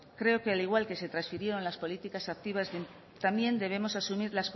creo que al igual que se transfirieron las políticas activas también debemos asumir